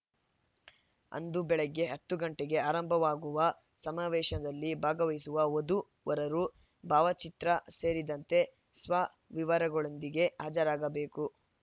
ಅಂದು ಬೆಳಗ್ಗೆ ಹತ್ತು ಗಂಟೆಗೆ ಆರಂಭವಾಗುವ ಸಮಾವೇಶದಲ್ಲಿ ಭಾಗವಹಿಸುವ ವಧುವರರು ಭಾವಚಿತ್ರ ಸೇರಿದಂತೆ ಸ್ವ ವಿವರಗಳೊಂದಿಗೆ ಹಾಜರಾಗಬೇಕು